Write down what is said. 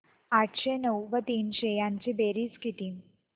आठशे नऊ व तीनशे यांची बेरीज किती